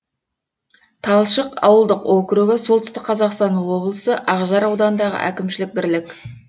талшық ауылдық округі солтүстік қазақстан облысы ақжар ауданындағы әкімшілік бірлік